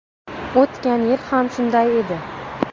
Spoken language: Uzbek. O‘tgan yil ham shunday edi.